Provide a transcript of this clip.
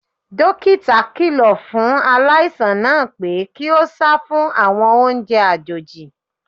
Dókítà kíló fún aláìsàn náà pé kí ó sá fún àwọn oúnjẹ àjòjì.